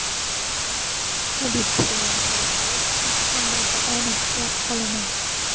Abituriyentlarga esa imtihonlarda omad tilab qolaman!